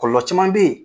Kɔlɔlɔ caman bɛ yen